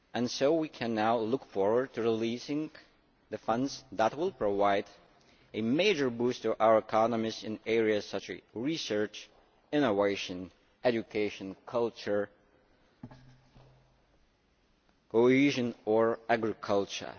So we can now look forward to releasing the funds that will provide a major boost to our economies in areas such as research, innovation, education, culture, cohesion and agriculture.